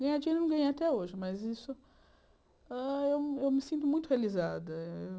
Ganhar dinheiro eu não ganhei até hoje, mas isso hã eu eu me sinto muito realizada.